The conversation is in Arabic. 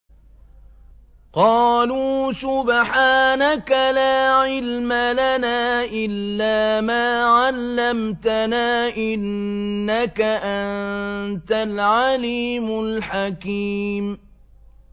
قَالُوا سُبْحَانَكَ لَا عِلْمَ لَنَا إِلَّا مَا عَلَّمْتَنَا ۖ إِنَّكَ أَنتَ الْعَلِيمُ الْحَكِيمُ